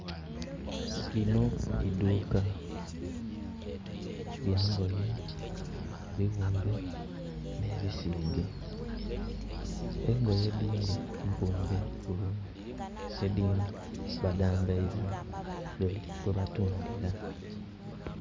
Lino idhuka lya ngoye, ebighumbe nhe bisige. Engoye edindhi mpumbe bulungi edhindhi badhambaiza ku bidholi kwe batundhira.